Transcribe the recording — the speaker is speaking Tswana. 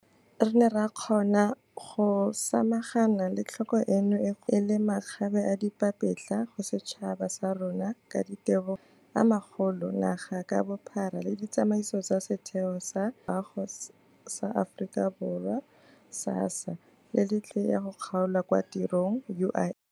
Re ne ra kgona go samagana le tlhoko eno e kgolo ebile e le makgabeadipapetla go setšhaba sa rona ka ditebogo go mafaratlhatlha a magolo naga ka bophara le ditsamaiso tsa Setheo sa Tshireletso ya Loago sa Aforika Borwa, SASSA, le Letlole la Inšorense ya go Kgaolwa kwa Tirong, UIF.